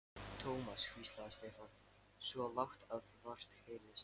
Thomas hvíslaði Stefán, svo lágt að vart heyrðist.